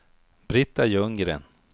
Britta Ljunggren